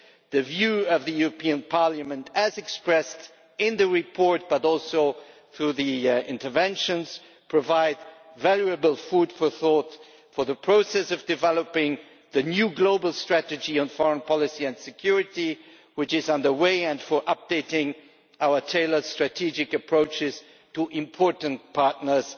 The view of the European Parliament, as expressed in the report and also in the contributions here, provides valuable food for thought in the process of developing the new global strategy on foreign policy and security which is on the way, and for updating our tailored strategic approaches to important partners